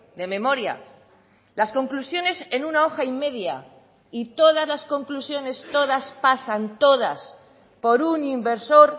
de memoria las conclusiones en una hoja y media y todas las conclusiones todas pasan todas por un inversor